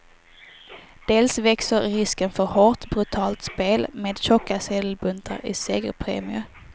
Dels växer risken för hårt, brutalt spel med tjocka sedelbuntar i segerpremier.